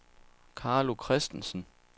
Carlo Kristensen